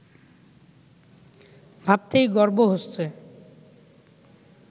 ভাবতেই গর্ব হচ্ছে